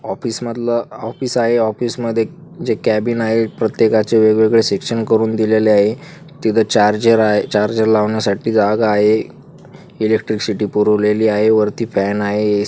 Office मधल office आहे office मध्ये जे कॅबिन आहे प्रत्येकाचे वेगवेगळे सेक्शन करून दिलेले आहे तिथ चार्जर आहे चार्जर लावण्यासाठी जागा आहे एलेक्ट्रिसिटी पुरवलेली आहे वरती फॅन आहे.